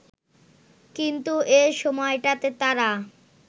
কিন্তু এ সময়টাতে তারা